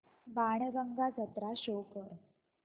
बाणगंगा जत्रा शो कर